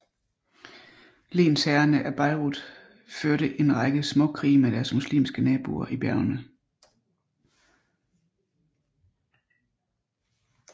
Lensherrene af Beirut førte en række småkrige med deres muslimske naboer i bjergene